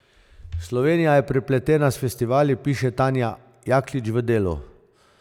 Slovenija je prepletena s festivali, piše Tanja Jaklič v Delu.